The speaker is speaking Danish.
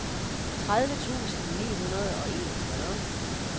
tredive tusind ni hundrede og enogfyrre